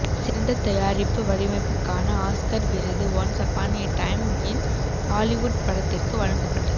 சிறந்த தயாரிப்பு வடிவமைப்புக்கான ஆஸ்கர் விருது once upon a time in Hollywood படத்திற்கு வழங்கப்பட்டது